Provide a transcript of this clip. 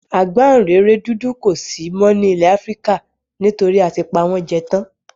Àgbáǹréré dúdú kò si mó nílẹ Afrika nítorí a ti pa won jẹ tán